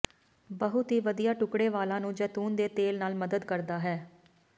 ਬਹੁਤ ਹੀ ਵਧੀਆ ਟੁਕੜੇ ਵਾਲਾਂ ਨੂੰ ਜੈਤੂਨ ਦੇ ਤੇਲ ਨਾਲ ਮਦਦ ਕਰਦਾ ਹੈ